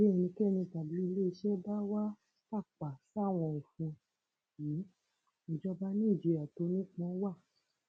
bí ẹnikẹni tàbí iléeṣẹ bá wàá tàpá sáwọn òfin yìí ìjọba ni ìjìyà tó nípọn wa